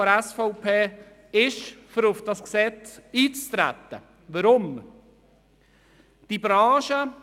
Warum stimmt nun eine Minderheit der SVP dem Eintreten zu?